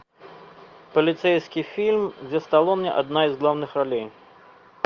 полицейский фильм где сталлоне одна из главных ролей